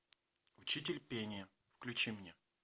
учитель пения включи мне